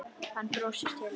Hann brosir til hennar.